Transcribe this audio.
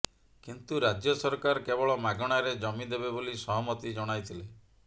କିନ୍ତୁ ରାଜ୍ୟ ସରକାର କେବଳ ମାଗଣାରେ ଜମି ଦେବେ ବୋଲି ସହମତି ଜଣାଇଥିଲେ